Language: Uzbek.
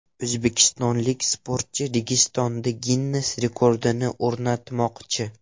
O‘zbekistonlik sportchi Registonda Ginness rekordini o‘rnatmoqchi.